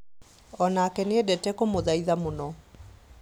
Onake nĩendete kũmũthaitha mũno